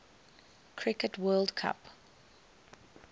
cricket world cup